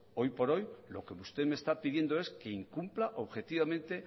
hoy por hoy lo que usted me está pidiendo es que incumpla objetivamente